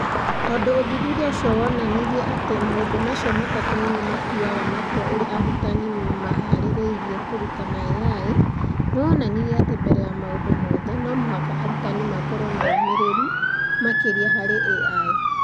Tondũ ũthuthuria ũcio woonanirie atĩ maũndũ macio matatũ nĩ mo matuaga matua ũrĩa arutani mahaarĩrĩirie kũrutana AI, nĩ woonanirie atĩ mbere ya maũndũ mothe, no mũhaka arutani makorũo na ũmĩrĩru makĩria harĩ AI.